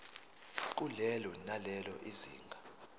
kulelo nalelo zinga